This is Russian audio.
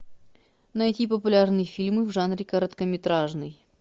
найти популярные фильмы в жанре короткометражный